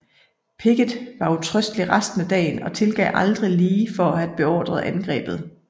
Pickett var utrøstelig resten af dagen og tilgav aldrig Lee for at have beordret angrebet